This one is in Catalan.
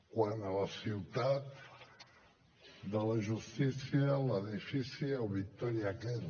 quan a la ciutat de la justícia l’edifici el victòria kent